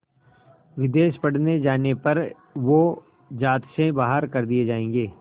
विदेश पढ़ने जाने पर वो ज़ात से बाहर कर दिए जाएंगे